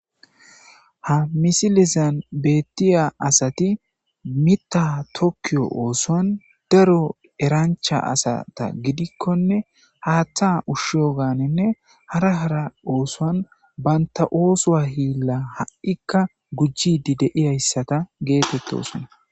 Ha misilezan betiya asat Mita tokiyo osuwan daro erancha asata gidkkonne Hatha ushiyoganne hara hara osuwan banta osuwa Hila ha'ka gujid de'iyageta getetosona.